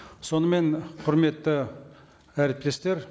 сонымен құрметті әріптестер